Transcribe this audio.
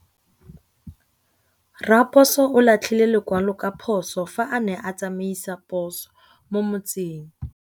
Raposo o latlhie lekwalô ka phosô fa a ne a tsamaisa poso mo motseng.